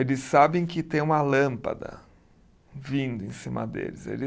Eles sabem que tem uma lâmpada vindo em cima deles. Eles